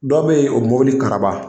Dɔ bɛ yen o mobili karaba